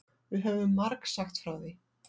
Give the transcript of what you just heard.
Við höfum margsagt frá því.